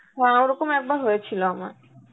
হ্যাঁ ওরকম একবার হয়েছিল আমার